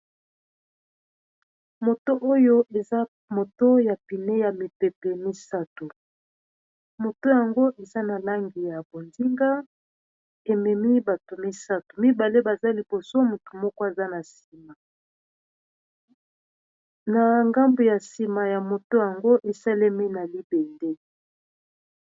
Moto oyo eza moto ya pine ya mipepe misato moto yango eza na langi ya bondinga ememi bato misato mibale baza liboso motu moko aza na nsima na ngambu ya nsima ya moto yango esalemi na libete.